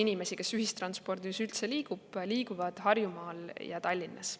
Need, kes ühistranspordiga üldse liiguvad, liiguvad Harjumaal ja Tallinnas.